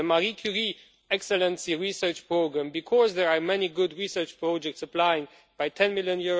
rate the Marie Curie Excellency Research Programme, because there are many good research projects applying, by EUR 10 million